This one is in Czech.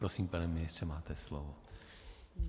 Prosím, pane ministře, máte slovo.